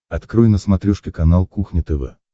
открой на смотрешке канал кухня тв